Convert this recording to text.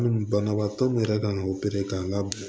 Banabaatɔ min yɛrɛ kan ka opere k'a la